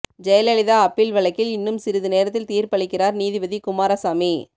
Jayalalithaa appeal வழக்கில் இன்னும் சிறிது நேரத்தில் தீர்ப்பளிக்கிறார் நீதிபதி குமாரசாமி